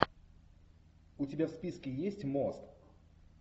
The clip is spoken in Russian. у тебя в списке есть мост